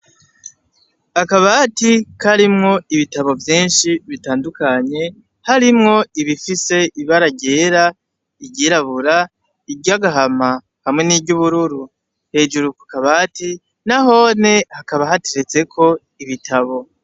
Akabati karimwo ibitabo vyinshi bitandukanye harimwo ibifise ibara ryera, iryirabura, iry'agahama hamwe n'iry'ubururu. Hejuru kukabati nanone hakaba hateretseko ibitabo.